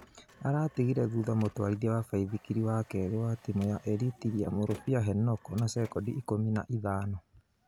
Aratigire thutha mũtwarithia wa baithikiri wa kerĩ wa timu ya Eritiria Mũrũbĩa Henoko na sekondi ikũmi na ithano